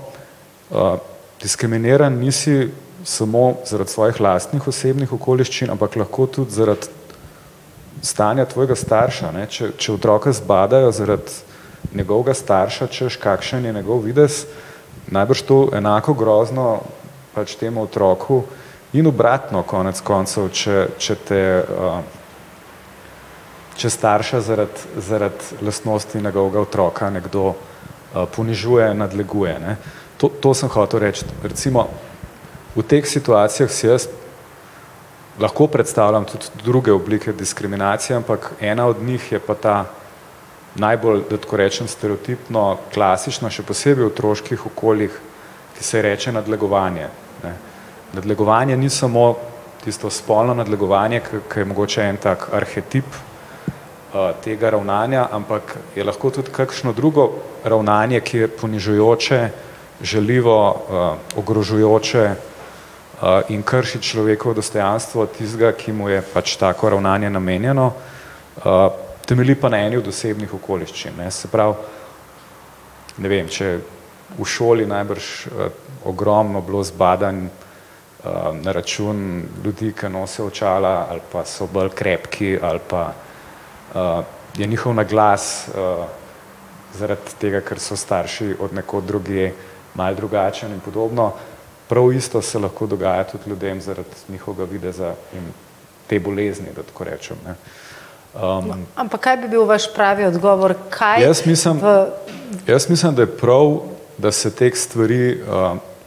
diskriminiran nisi samo zaradi svojih lastnih osebnih okoliščin, ampak lahko tudi zaradi stanja tvojega starša, ne, če, če otroka zbadajo zaradi njegovega starša, hočeš, kakšen je njegov videz, najbrž to enako grozno pač temu otroku in obratno konec koncev, če, če te, če starša zaradi, zaradi lastnosti njegovega otroka nekdo, ponižuje, nadleguje, ne. To, to sem hotel reči, recimo v teh situacijah si jaz lahko predstavljam tudi druge oblike diskriminacije, ampak ena od teh je pa ta najbolj, da tako rečem stereotipno, klasično, še posebej v otroških okoljih, ki se ji reče nadlegovanje, ne. Nadlegovanje ni samo tisto spolno nadlegovanje, ko, ko je mogoče en tak arhetip, tega ravnanja, ampak je lahko tudi kakšno drugo ravnanje, ki je ponižujoče, žaljivo, ogrožajoče, in krši človekovo dostojanstvo tistega, ki mu je pač tako ravnanje namenjeno. temelji pa na eni od osebnih okoliščin, ne, se pravi, ne vem, če v šoli najbrž, ogromno bilo zbadanj, na račun ljudi, ki nosijo očala, ali pa so bolj krepki, ali pa, je njihov naglas, zaradi tega, ker so starši od nekod drugje, malo drugačen in podobno. Prav isto se lahko dogaja tudi ljudem zaradi njihovega videza in te bolezni, da tako rečem, ne. ... Ampak kaj bi bil vaš pravi odgovor, kaj v ... Jaz mislim ... jaz mislim, da je prav, da se teh stvari,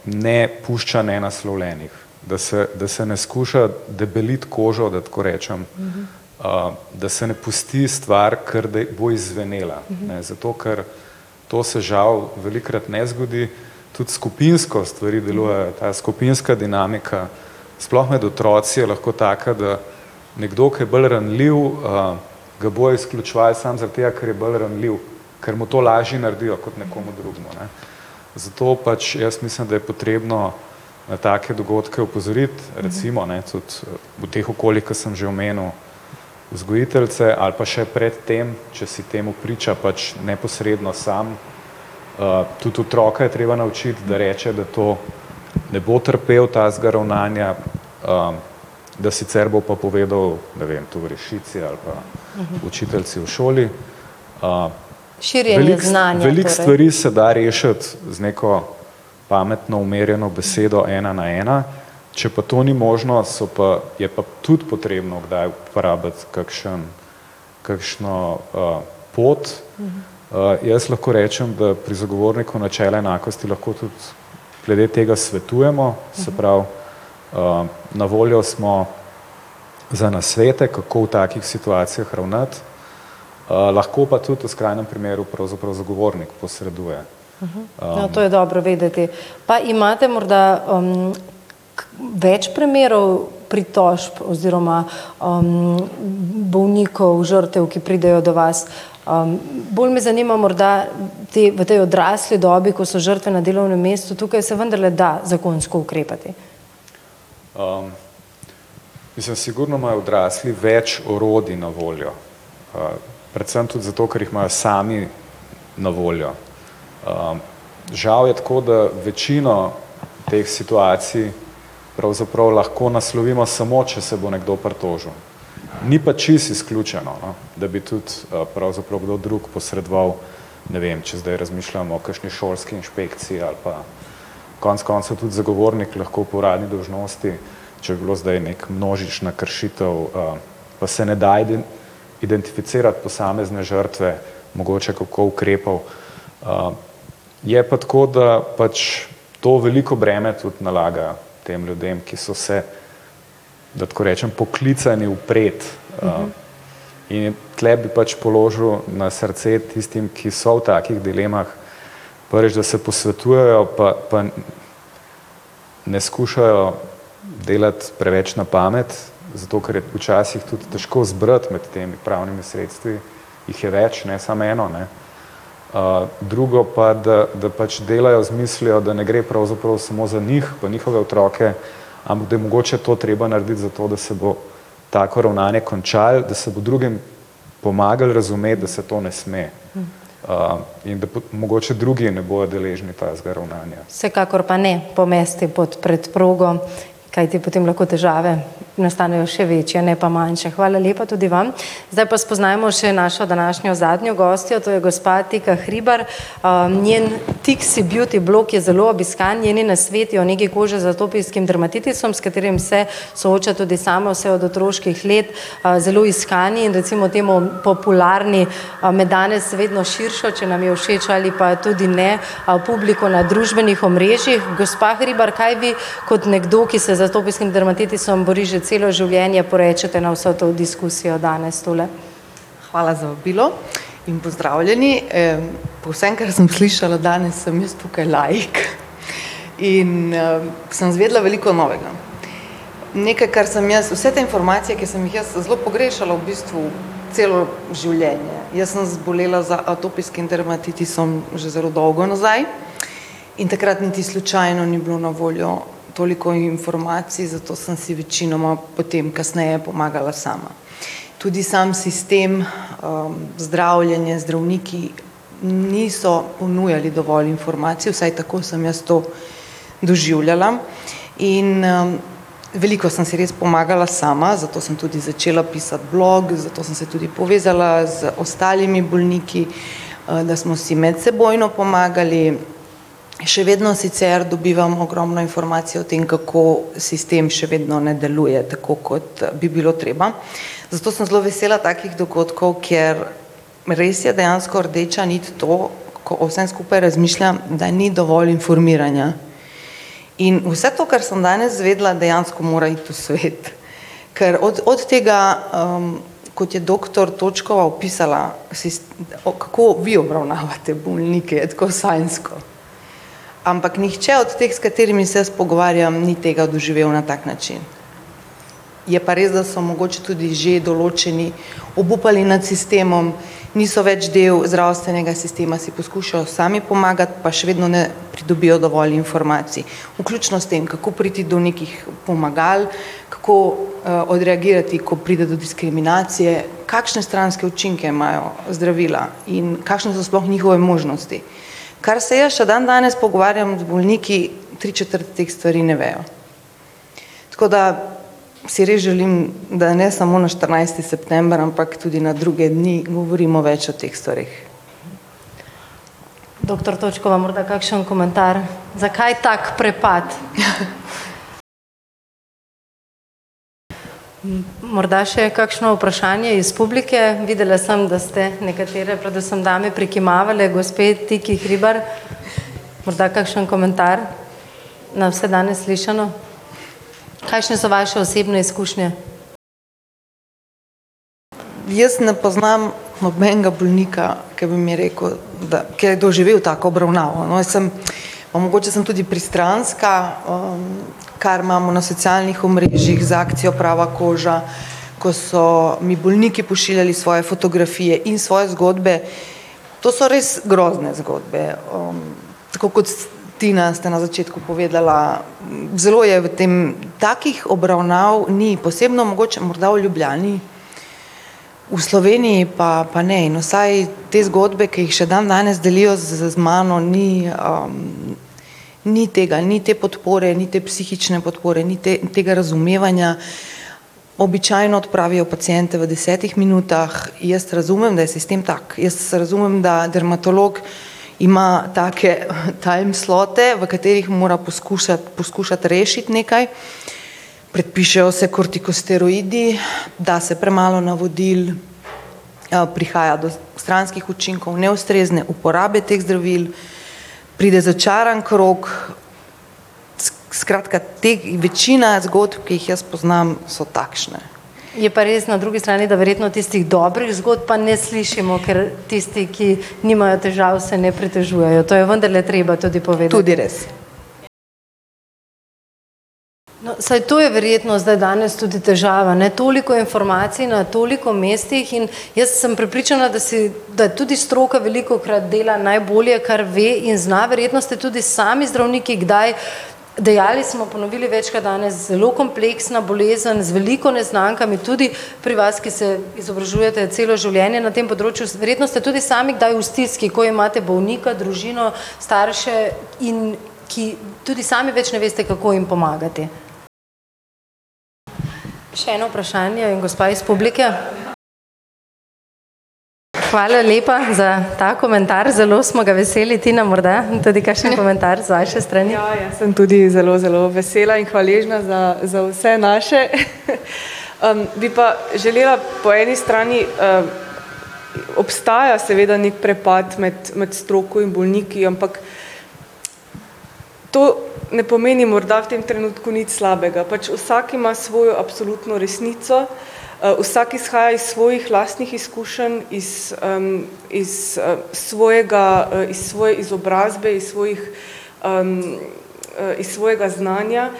ne pušča nenaslovljenih. Da se, da se ne skuša debeliti kožo, da tako rečem, da se ne pusti stvar, ker da bo izzvenela, ne, zato ker to se žal velikokrat ne zgodi. Tudi skupinsko stvari delujejo, ta skupinska dinamika sploh med otroci je lahko taka, da nekdo, ki je bolj ranljiv, ga bojo izključevali samo zaradi tega, ker je bolj ranljiv. Ker mu to lažje naredijo kot nekomu drugemu, ne. Zato pač jaz mislim, da je potrebno na take dogodke opozoriti, recimo ne, tudi v teh okoljih, ke sem že omenil. Vzgojiteljice ali pa še pred tem, če si temu priča pač neposredno sam, tudi otroka je treba naučiti, da reče, da to ne bo trpel takega ravnanja, da sicer bo pa povedal, ne vem, tovarišici ali pa učiteljici v šoli. ... Širjenje znanja, ne. Veliko, veliko stvari se da rešiti z neko pametno umirjeno besedo ena na ena. Če pa to ni možno, so pa, je pa tudi potrebno kdaj uporabiti kakšno, kakšno, pot, jaz lahko rečem, da pri zagovorniku načel enakosti lahko tudi glede tega svetujemo, se pravi, na voljo smo za nasvete, kako v takih situacijah ravnati, lahko pa tudi v skrajnem primeru pravzaprav zagovornik posreduje. no, to je dobro vedeti. Pa imate morda, kaj več primerov pritožb oziroma, bolnikov, žrtev, ki pridejo do vas? bolj me zanima morda ti v tej odrasli dobi, ko so žrtve na delovnem mestu, tukaj se vendarle da zakonsko ukrepati? mislim sigurno imajo odrasli več orodij na voljo, predvsem tudi zato, ker jih imajo sami na voljo. žal je tako, da večino teh situacij pravzaprav lahko naslovimo samo, če se bo nekdo pritožil, ni pa čisto izključeno, no. Da bi tudi, pravzaprav kdo drug posredoval, ne vem, če zdaj razmišljam o kakšni šolski inšpekciji ali pa konec koncev tudi zagovornik lahko po uradni dolžnosti, če je bilo zdaj neka množična kršitev, da se ne da identificirati posamezne žrtve mogoče, kako ukrepal, je pa tako, da pač to veliko breme tudi nalaga tem ljudem, ki so se, da tako rečem poklicani upreti, in tule bi pač položil na srce tistim, ki so v takih dilemah, prvič, da se posvetujejo, pa, pa ne skušajo delati preveč na pamet, zato ker je včasih tudi težko izbrati med temi pravnimi sredstvi, jih je več, ne samo eno, ne. drugo pa, da, da pač delajo z mislijo, da ne gre pravzaprav samo za njih pa njihove otroke, ampak da je mogoče to treba narediti, zato da se bo tako ravnanje končalo, da se bo drugim pomagalo razumeti, da se to ne sme, in da mogoče drugi ne bojo deležni takega ravnanja. Vsekakor pa ne pomesti pod preprogo, kajti potem lahko težave nastanejo še večje, ne pa manjše. Hvala lepa tudi vam. Zdaj pa spoznajmo še našo današnjo zadnjo gostjo. To je gospa Tika Hribar. njen Tiksi Beauty blog, ki je zelo obiskan, njeni nasveti o negi kože z atopijskim dermatitisom, s katerim se sooča tudi sama vse od otroških let. zelo iskani in recimo temu popularni, med danes vedno širšo, če nam je všeč ali pa tudi ne, publiko na družbenih omrežjih. Gospa Hribar, kaj vi kot nekdo, ki se z atopijskim dermatitisom bori že celo življenje, porečete na vso to diskusijo danes tule? Hvala za vabilo in pozdravljeni, po vsem, kar sem slišala danes, sem jaz tukaj laik in, sem izvedela veliko novega. Nekaj, kar sem jaz, vse te informacije, ki sem jih jaz zelo pogrešala v bistvu celo življenje. Jaz sem zbolela z atopijskim dermatitisom že zelo dolgo nazaj. In takrat niti slučajno ni bilo na voljo toliko informacij, zato sem si večinoma potem kasneje pomagala sama. Tudi sam sistem, zdravljenja, zdravniki niso ponujali dovolj informacij, vsaj tako sem jaz to doživljala. In, veliko sem si res pomagala sama, zato sem tudi začela pisati blog, zato sem se tudi povezala z ostalimi bolniki. da smo si medsebojno pomagali. Še vedno sicer dobivam ogromno informacij o tem, kako sistem še vedno ne deluje, tako kot bi bilo treba. Zato sem zelo vesela takih dogodkov, ker res je dejansko rdeča nit to, ko o vsem skupaj razmišljam, da ni dovolj informiranja. In vse to, kar sem danes izvedela, dejansko mora iti v svet. Ker od, od tega, kot je doktor Točkova opisala o, kako vi obravnavate bolnike, tako sanjsko. Ampak nihče od teh, s katerimi se jaz pogovarjam, ni tega doživel na tak način. Je pa res, da so mogoče tudi že določeni obupali nad sistemom, niso več del zdravstvenega sistema, si poskušajo sami pomagati pa še vedno ne pridobijo dovolj informacij, vključno s tem, kako priti do nekih pomagal, kako, odreagirati, ko pride do diskriminacije. Kakšne stranske učinke imajo zdravila in kakšne so sploh njihove možnosti. Kar se jaz še dandanes pogovarjam z bolniki, tri četrt teh stvari ne vejo. Tako da si res želim, da ne samo na štirinajsti september, ampak tudi na druge dni govorimo več o teh stvareh. Doktor Točkova morda kakšen komentar? Zakaj tak prepad? Morda še kakšno vprašanje iz publike. Videla sem, da ste nekatere, predvsem dame, prikimavale gospe Tukaj Hribar. Morda kakšen komentar na vse danes slišano? Kakšne so vaše osebne izkušnje? Je pa res na drugi strani, da verjetno tistih dobrih zgodb pa ne slišimo, ker tisti, ki nimajo težav, se ne pritožujejo, to je vendarle treba tudi povedati. No, saj to je verjetno zdaj danes tudi težava, ne. Toliko informacij na toliko mestih in jaz sem prepričana, da si, da tudi stroka velikokrat dela najbolje, kar ve in zna, verjetno ste tudi sami zdravniki kdaj dejali smo, ponovili večkrat danes. Zelo kompleksna bolezen, z veliko neznankami tudi pri vas, ki se izobražujete celo življenje na tem področju. Verjetno ste tudi sami kdaj v stiski, ko imate bolnika, družino starše, in ki tudi sami več ne veste, kako jim pomagati. Še eno vprašanje, gospa iz publike. Hvala lepa za ta komentar, zelo smo ga veseli. Tina morda, tudi kakšen komentar tudi z vaše strani? Ja jaz sem tudi zelo, zelo vesela in hvaležna za, za vse naše . bi pa želela po eni strani, obstaja seveda neki prepad med, med stroko in bolniki, ampak to ne pomeni morda v tem trenutku nič slabega. Pač vsak ima svojo absolutno resnico, vsak izhaja iz svojih lastnih izkušenj iz, iz, svojega, iz svoje izobrazbe iz svojih iz svojega znanja,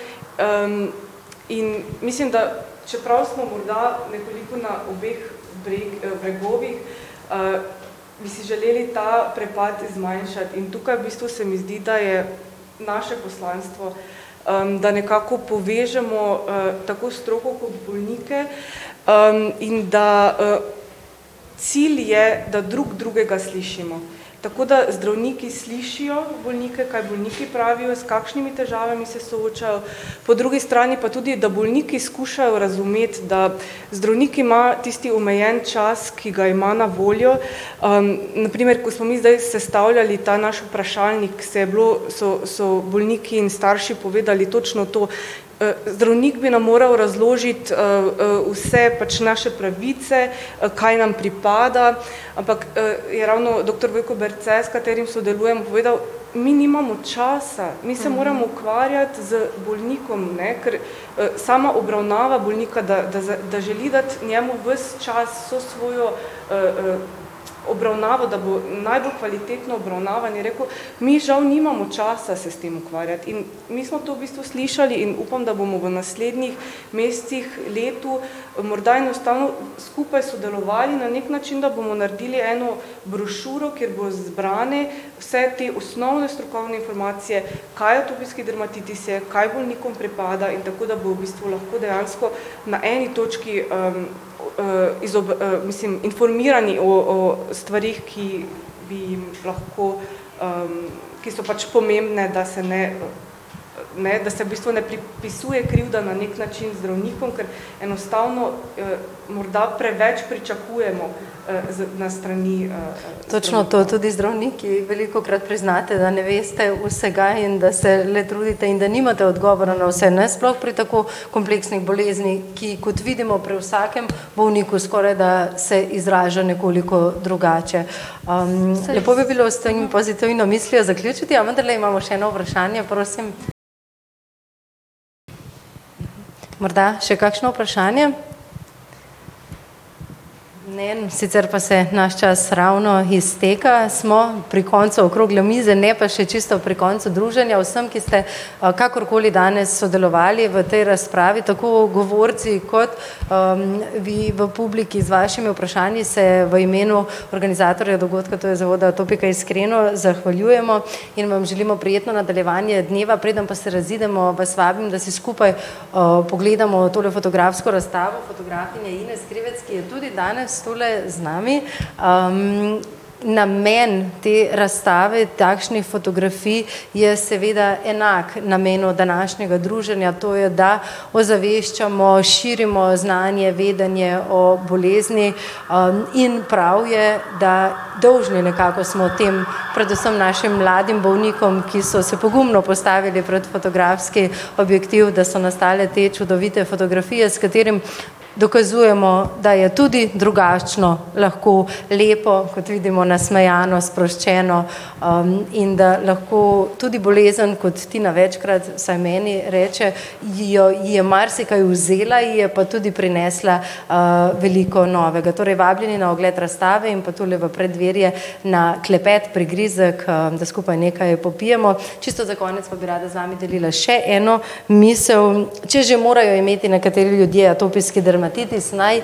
in mislim, da, čeprav smo morda nekoliko na obeh bregovih, bi si želeli ta prepad zmanjšati in tukaj v bistvu se mi zdi, da je naše poslanstvo, da nekako povežemo, tako stroko kot bolnike, in da, cilj je, da drug drugega slišimo. Tako da zdravniki slišijo bolnike, kaj bolniki pravijo, s kakšnimi težavami se soočajo, po drugi strani pa tudi, da bolniki skušajo razumeti, da zdravniki imajo tisti omejen čas, ki ga ima na voljo, na primer, ko smo mi zdaj sestavljali ta naš vprašalnik, se je bilo, so, so bolniki in starši povedali točno to. zdravnik bi nam moral razložiti, vse pač naše pravice, kaj nam pripada, ampak, je ravno doktor Vojko Berce, s katerim sodelujem, povedal: "Mi nimamo časa, mi se moramo ukvarjati z bolnikom," ne, ker sama obravnava bolnika, da, da želi dati njemu ves čas, vso svojo, obravnavo, da bo najbolj kvalitetno obravnavan, je rekel: "Mi žal nimamo časa se s tem ukvarjati," in mi smo to v bistvu slišali in upam, da bomo v naslednjih mesecih, letu, morda enostavno skupaj sodelovali na neki način, da bomo naredili eno brošuro, kjer bojo zbrane vse te osnovne strokovne informacije, kaj je atopijski dermatitis je, kaj bolnikom pripada in tako, da bo v bistvu lahko dejansko na eni točki, mislim informirani o, o, stvareh, ki bi jim lahko, ki so pač pomembne, da se ne ne, da se v bistvu ne pripisuje krivda na neki način zdravnikom, ker enostavno, morda preveč pričakujemo, z na strani, ... Točno to, tudi zdravniki velikokrat priznate, da ne veste vsega in da se le trudite in da nimate odgovora na vse, ne, sploh pri tako kompleksni bolezni, ki kot vidimo pri vsakem bolniku skoraj da se izraža nekoliko drugače. lepo bi bilo s to pozitivno mislijo zaključiti, a vendarle imamo še eno vprašanje. Prosim. Morda še kakšno vprašanje? Ne, sicer pa se znaš čas ravno izteka. Smo pri koncu okrogle mize ne pa še čisto pri koncu druženja, vsem, ki ste, kakorkoli danes sodelovali v tej razpravi tako govorci kot, vi v publiki, z vašimi vprašanji se v imenu organizatorja dogodka, to je Zavoda Atopika, iskreno zahvaljujemo in vam želimo prijetno nadaljevanje dneva, preden pa se razidemo, vas vabim, da si skupaj, pogledamo tole fotografsko razstavo fotografinje Ines Krivec, ki je tudi danes tule z nami. namen te razstave takšnih fotografij je seveda enak namenu današnjega druženja, to je, da ozaveščamo, širimo znanje, vedenje o bolezni, in prav je, da dolžni nekako smo tem predvsem našim mladim bolnikom, ki so se pogumno postavili pred fotografski objektiv, da so nastale te čudovite fotografije, s katerimi dokazujemo, da je tudi drugačno lahko lepo, kot vidimo nasmejano, sproščeno, in da lahko tudi bolezen, kot Tina večkrat vsaj meni reče, ji jo, ji je marsikaj vzela, ji je pa tudi prinesla, veliko novega, torej vabljeni na ogled razstave in pa v preddverje na klepet, prigrizek, da skupaj nekaj popijemo. Čisto za konec pa bi rada z vami delila še eno misel. Če že morajo imeti nekateri ljudje atopijski dermatitis, naj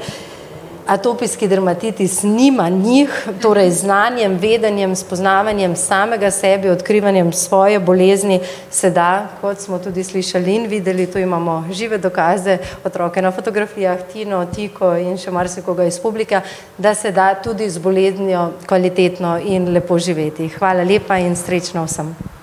atopijski dermatitis nima njih, torej z znanjem, vedenjem, spoznavanjem samega sebe, odkrivanjem svoje bolezni se da, kot smo tudi slišali in videli, tu imamo žive dokaze otroka na fotografijah, Tino, Tiko in še marsikoga iz publike, da se da tudi z boleznijo kvalitetno in lepo živeti. Hvala lepa in srečno vsem.